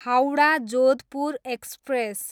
Howrah, Jodhpur express